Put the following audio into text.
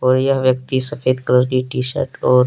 बढ़िया व्यक्ति सफेद कलर की टी_शर्ट और--